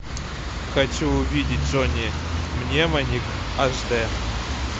хочу увидеть джонни мнемоник аш дэ